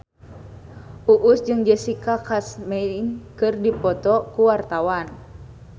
Uus jeung Jessica Chastain keur dipoto ku wartawan